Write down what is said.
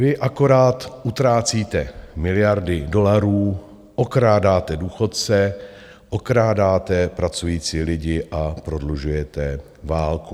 Vy akorát utrácíte miliardy dolarů, okrádáte důchodce, okrádáte pracující lidi a prodlužujete válku.